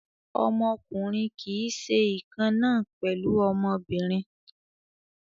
Ọmọkùnrin kì í ṣe ìkan náà pẹ̀lú ọmọbìnrin.